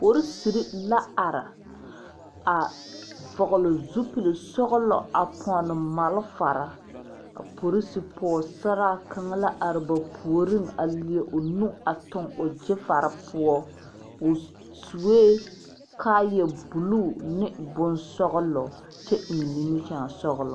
Poriserre la are a vɔgle zupil sɔglɔ a pɔnne malfare a porose pɔɔsaraa kaŋa la are ba puoriŋ leɛ o nu a tuŋ o gyifare poɔ o suee kaayɛ bluu ne bonsɔglɔ kyɛ eŋ nimikyaane sɔglɔ.